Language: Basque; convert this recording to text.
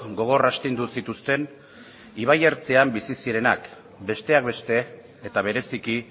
gogor astindu zituzten ibai ertzean bizi zirenak besteak beste eta bereziki